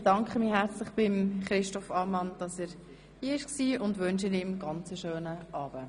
Ich bedanke mich herzlich bei Regierungsrat Christoph Ammann für seine Anwesenheit und wünsche ihm einen ganz schönen Abend.